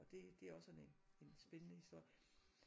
Og det det er også sådan en en spændende historie